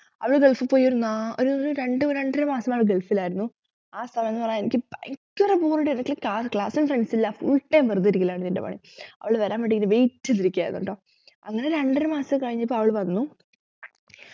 അവള് ഗൾഫിൽ പോയി ഒരു നാല് ഒരു രണ്ടു രണ്ടര മാസം അവൾ ഗൾഫിലായിരുന്നു ആ ഒരു സമയം എനിക്ക് ഭയങ്കര bore അടി ആയിരുന്നു class ലു friends ഇല്ല full time വെറുതെ ഇരിക്കലാണ് എന്റെ പണി അവള് വരാൻ വേണ്ടി ഇങ്ങന wait ചെയ്തിരിക്കുകയായിരുന്നുട്ടോ അങ്ങനെ രണ്ടര മാസം കഴിഞ്ഞപ്പോൾ അവൾ വന്നു